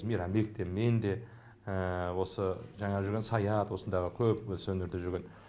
мейрамбек те мен де осы жаңағы жүрген саят осындағы көп осы өнерде жүрген